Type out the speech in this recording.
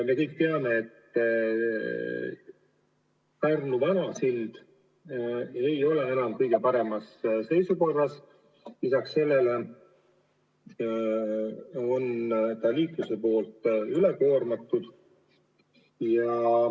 Me kõik teame, et Pärnu vana sild ei ole enam kõige paremas seisukorras, lisaks on ta liiklusega üle koormatud.